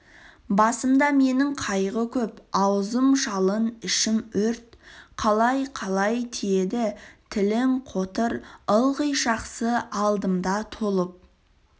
басымда менің қайғы көп аузым жалын ішім өрт қалай-қалай тиеді тілің қотыр ылғи жақсы алдымда толып